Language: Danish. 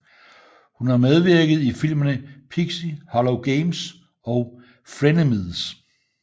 Hun har medvirket i filmene Pixie Hollow Games og Frenemies